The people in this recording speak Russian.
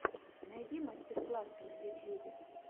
найди мастер классы на ютьюбе